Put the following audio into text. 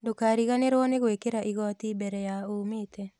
Ndũkariganĩrwo nĩ gwĩkĩra igoti mbere ya umĩte